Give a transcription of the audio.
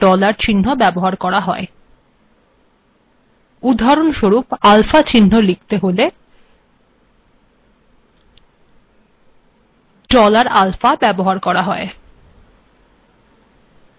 উদাহরণস্বরূপ আলফা চিহ্ন লিখিত ডলার আলফা ব্যবহার করা হল